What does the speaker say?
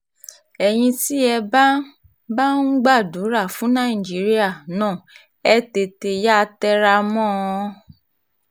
ẹ̀yin tí ẹ bá bá ń gbàdúrà fún nàìjíríà náà ẹ tètè yáa tẹra mọ́ ọn